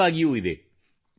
ಇದು ಸೂಕ್ತವಾಗಿಯೂ ಇದೆ